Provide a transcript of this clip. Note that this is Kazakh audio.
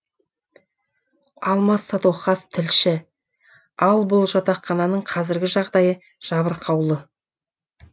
алмас садуақас тілші ал бұл жатақхананың қазіргі жағдайы жабырқаулы